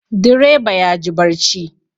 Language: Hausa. Direba yaji barci